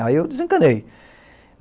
Aí eu desencanei.